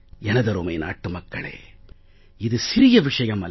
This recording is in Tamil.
எனதருமை நாட்டு மக்களே இது சிறிய விஷயம் அல்ல